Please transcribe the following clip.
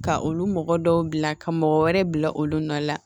Ka olu mɔgɔ dɔw bila ka mɔgɔ wɛrɛ bila olu nɔ la